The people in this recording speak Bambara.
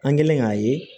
An kɛlen k'a ye